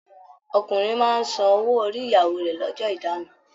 Ọkùnrin máa n sàn owó orí ìyàwó rẹ l'ọ́jọ́ ìdáná.